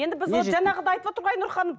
енді біз ол жаңағыдай айтып отыр ғой айнұр ханым